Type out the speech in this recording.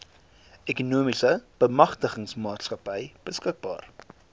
ekonomiese bemagtigingsmaatskappy beskikbaar